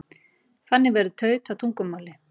Þannig verður taut að tungumáli.